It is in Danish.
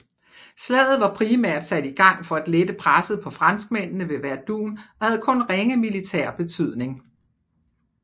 Slaget var primært sat i gang for at lette presset på franskmændene ved Verdun og havde kun ringe militær betydning